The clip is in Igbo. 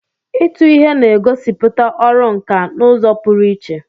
Ịtụ ihe na-egosipụta ọrụ nkà n'ụzọ pụrụ iche.